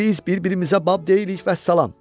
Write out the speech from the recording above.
Biz bir-birimizə bab deyilik, vəssalam.